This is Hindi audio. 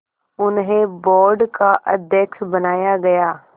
उन्हें बोर्ड का अध्यक्ष बनाया गया